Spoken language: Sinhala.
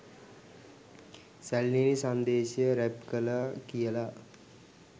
සැළලිහිණි සංදේශය රැප් කළා කියල